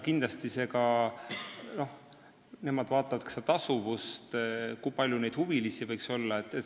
Kindlasti vaatavad nemad ka tasuvust, st kui palju võiks olla huvilisi.